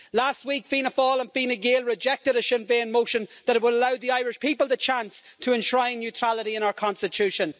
Last week, Fianna Fáil and Fianna Gael rejected a Sinn Féin motion that will allow the Irish people the chance to enshrine neutrality in our Constitution.